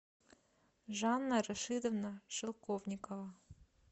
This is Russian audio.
жанна рашидовна шелковникова